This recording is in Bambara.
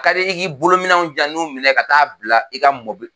A ka di i k'i bolo minɛnw jan n ko minɛ ka taa bila i ka mɔbi